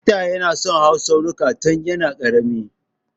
Feter ya na son hawan tsaunuka tun ya na ƙarami